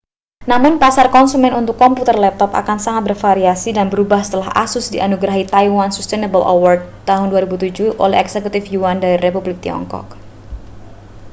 namun pasar konsumen untuk komputer laptop akan sangat bervariasi dan berubah setelah asus dianugerahi taiwan sustainable award 2007 oleh eksekutif yuan dari republik tiongkok